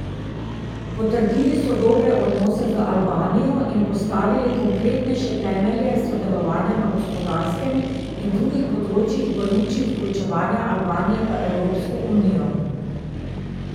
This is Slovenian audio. Potrdili so dobre odnose z Albanijo in postavili konkretnejše temelje sodelovanja na gospodarskem in drugih področjih v luči vključevanja Albanije v Evropsko unijo.